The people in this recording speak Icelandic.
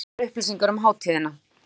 Nánari upplýsingar um hátíðina